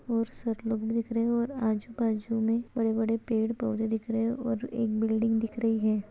और सर लोग दिख रहें है और आजू-बाजू में बड़े-बड़े पेड़-पौधे दिख रहे हैं और एक बिल्डिंग दिख रही हैं।